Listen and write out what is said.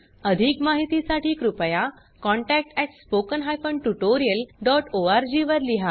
अधिक माहितीसाठी कृपया contact at spoken hyphen tutorial dot O R G वर लिहा